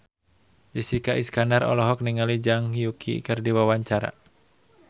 Jessica Iskandar olohok ningali Zhang Yuqi keur diwawancara